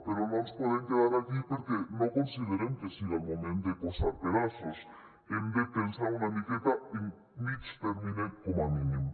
però no ens podem quedar aquí perquè no considerem que siga el moment de posar pedaços hem de pensar una miqueta en mitjà termini com a mínim